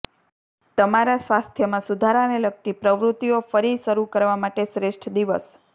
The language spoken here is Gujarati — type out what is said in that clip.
તમારા સ્વાસ્થ્યમાં સુધારાને લગતી પ્રવૃત્તિઓ ફરી શરૂ કરવા માટે શ્રેષ્ઠ દિવસ